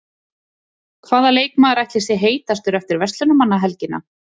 Hvaða leikmaður ætli sé heitastur eftir Verslunarmannahelgina?